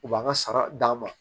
U b'an ka sara d'a ma